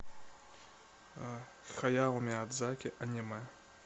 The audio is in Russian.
хаяо миядзаки аниме